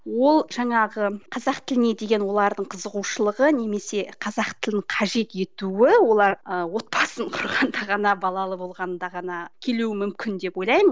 ол жаңағы қазақ тіліне деген олардың қызығушылығы немесе қазақ тілін қажет етуі олар ы отбасын құрғанда ғана балалы болғанда ғана келуі мүмкін деп ойлаймын